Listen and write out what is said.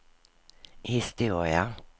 historia